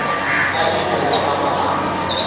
a ilego a ba a